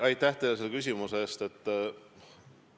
Aitäh teile selle küsimuse eest!